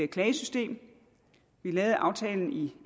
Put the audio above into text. klagesystem vi lavede aftalen i